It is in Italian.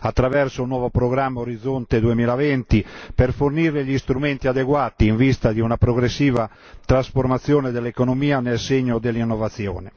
attraverso il nuovo programma Orizzonte2020, per fornire gli strumenti adeguati in vista di una progressiva trasformazione dell'economia nel segno dell'innovazione.